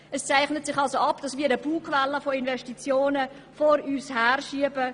Es zeichnet sich somit ab, dass wir eine Bugwelle aus fälligen Investitionen vor uns herschieben.